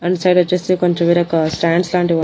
front side వచ్చేసి కొంచెం వేరొక స్టాండ్స్ లాంటివి ఉన్--